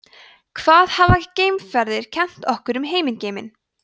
hvað hafa geimferðir kennt okkur um himingeiminn